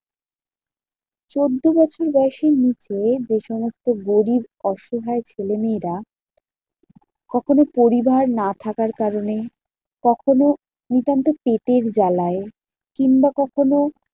চোদ্দ বছর বয়সের নিচে যেসমস্ত গরিব অসহায় ছেলেমেয়েরা কখনও পরিবার না থাকার কারণে কখনও নিতান্ত পেটের জ্বালায় কিংবা কখনও